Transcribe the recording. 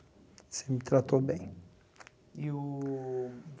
tratou bem. E o